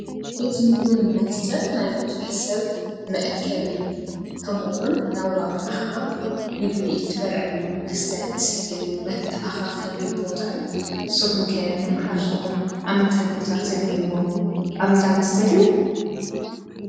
እዚ ምግብን መስተን ናይ ቡዙሕ ሰብ መእከቢ ከምኡ እውን ምስ ቡዙሕ ሰብ እናዋግኣኻ ምግቢ እትበልዐሉ መስተ እትሰትየሉ መተኣኻ ኸቢ ቦታ እዩ ። ንስኹም ከ ንመሓዝትኩም ኣብ ምንታይ ቦታ ተግንይዎም ኣብ እንዳመስተ ድዩ?